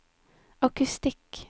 akustikk